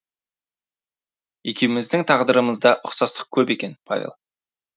екеуміздің тағдырымызда ұқсастық көп екен павел